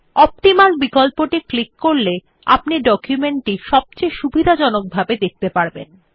optimal বিকল্পটি click করলে আপনি ডকুমেন্ট টি সবচেয়ে সুবিধাজনক ভাবে দেখতে পারবেন